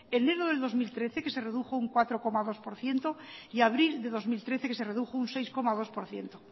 enero de dos mil trece que se redujo un cuatro coma dos por ciento y abril de dos mil trece que se redujo un seis coma dos por ciento